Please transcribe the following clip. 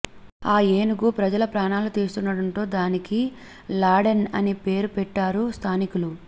ఆ ఏనుగు ప్రజల ప్రాణాలు తీస్తుండడంతో దానికి లాడెన్ అనే పేరు పెట్టారు స్థానికులు